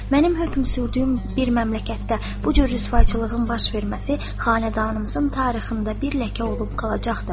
Mənim hökm sürdüyüm bir məmləkətdə bu cür rüsvaçılığın baş verməsi xanədanımızın tarixində bir ləkə olub qalacaqdır.